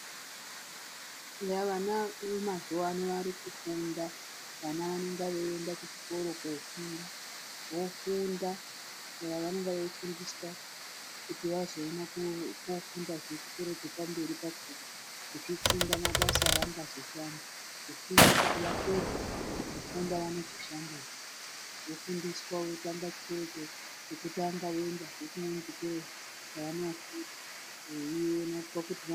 yah !vana vemazuwa ano vari kufunda vana vanenge veienda kuchikora kofunda ,vofunda ,eya vanenge viefundiswa kuti vazoone kofunda zve chikora chepa mberi pakona vachifunda mabasa avangazoshanda ,kufunda kuti vapedza kufunda vanozoshandepi, vofundiswa votanga chikoro chekutanga voendahe kunechimwe chikoro veioneswa kuti ..........